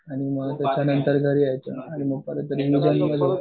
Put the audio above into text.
आणि मग त्याच्यानंतर घरी यायचं आणि मग रिविजन करू झोपायचं